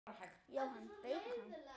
Jóhann: Beikon?